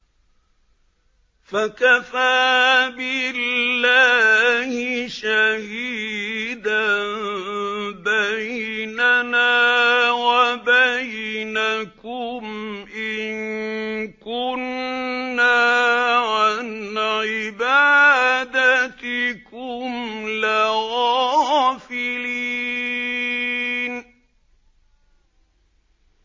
فَكَفَىٰ بِاللَّهِ شَهِيدًا بَيْنَنَا وَبَيْنَكُمْ إِن كُنَّا عَنْ عِبَادَتِكُمْ لَغَافِلِينَ